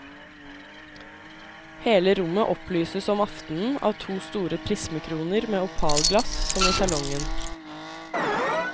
Hele rommet opplyses om aftenen av to store prismekroner med opalglass som i salongen.